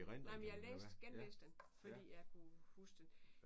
Nej men jeg læste genlæste den fordi jeg kunne huske den